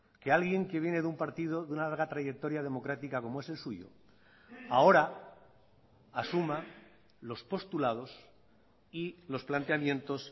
que alguien que viene de un partido de una larga trayectoria democrática como es el suyo ahora asuma los postulados y los planteamientos